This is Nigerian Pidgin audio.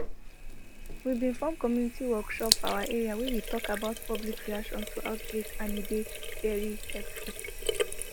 we bin form community workshop for our area wey we talk about public reaction to outbreak and e dey very helpful